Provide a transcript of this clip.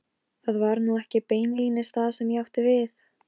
Það var atriði úr bréfinu sem kom mér á sporið.